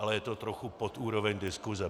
Ale je to trochu pod úroveň diskuse.